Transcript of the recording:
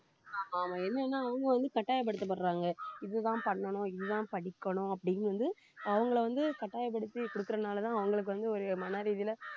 ஆமா என்னன்னா அவங்க வந்து கட்டாயப்படுத்தப்படுறாங்க இதுதான் பண்ணணும் இதுதான் படிக்கணும் அப்படின்னு வந்து அவங்களை வந்து கட்டாயப்படுத்தி கொடுக்கிறதுனாலதான் அவங்களுக்கு வந்து ஒரு மனரீதியில